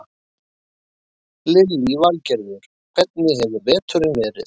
Lillý Valgerður: Hvernig hefur veturinn verið?